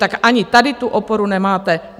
Tak ani tady tu oporu nemáte.